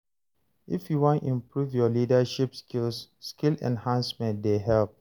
If you wan improve your leadership skills, skill enhancement dey help.